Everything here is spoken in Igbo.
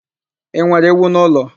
I nwere ewu n'ụlọ?